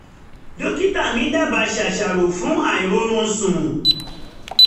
dókítà mi dábàá ṣàṣàrò fún àìróorunsùn